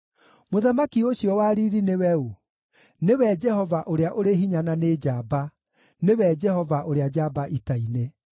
Mũthamaki ũcio wa riiri nĩwe ũũ? Nĩwe Jehova ũrĩa ũrĩ hinya na nĩ njamba, nĩwe Jehova ũrĩa njamba ita-inĩ.